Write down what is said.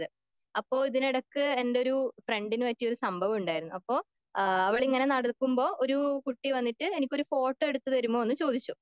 അപ്പോൾ ഇതിന് ഇടക്ക് എൻ്റെ ഫ്രണ്ടന് പറ്റിയൊരു സംഭവം ഉണ്ടായിരുന്നു.അപ്പൊ അവളിങ്ങനെ നടക്കുമ്പോ ഒരു കുട്ടി വന്നിട്ട് എനിക്കൊരു ഫോട്ടോ എടുത്തു തരുമോയെന്ന് ചോദിച്ചു.